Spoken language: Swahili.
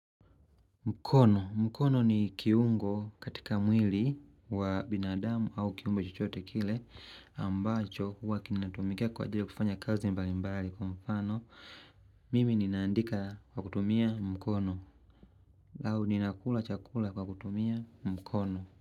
Mkono. Mkono ni kiungo katika mwili wa binadamu au kiumbe chochote kile ambacho huwa kinatumikia kwa ajili ya kufanya kazi mbali mbali kwa mfano. Mimi ninaandika kwa kutumia mkono. Lau ninakula chakula kwa kutumia mkono.